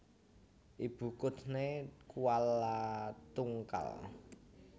Ibu kuthné Kualatungkal